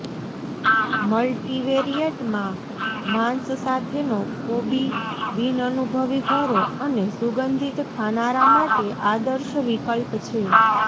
મલ્ટિવેરિયેટમાં માંસ સાથેનો કોબી બિનઅનુભવી ઘરો અને સુગંધિત ખાનારા માટે આદર્શ વિકલ્પ છે